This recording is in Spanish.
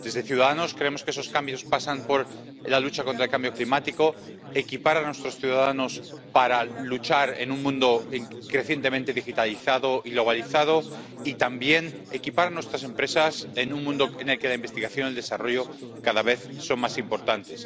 En Ciudadanos creemos que esos cambios pasan por la lucha contra el cambio climático, equipar a nuestros ciudadanos para luchar en un mundo crecientemente digitalizado y globalizado y también equipar a nuestras empresas en un mundo en el que la investigación y el desarrollo cada vez son más importantes.